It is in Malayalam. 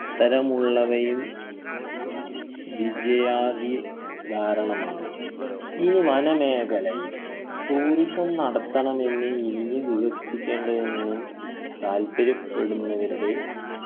അത്തരമുള്ളവയും വിജയാദി കാരണമാണ് ഈ വന മേഖലയിൽ tourism നടത്തണമെന്ന് ഇനിയും വികസിപ്പിക്കേണ്ടത് എന്നും താല്പര്യപ്പെടുന്നവരുടെ